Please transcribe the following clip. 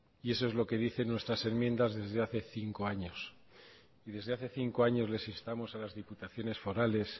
eso es lo que dicen nuestras enmiendas desde hace cinco años y desde hace cinco años les instamos a las diputaciones forales